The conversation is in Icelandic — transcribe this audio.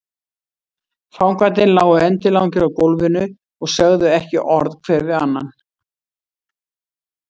Fangarnir lágu endilangir á gólfinu og sögðu ekki orð hver við annan.